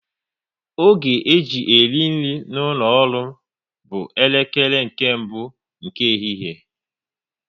Oge e ji eri nri n'ụlọ ọrụ m bụ elekere nke mbụ nke ehihie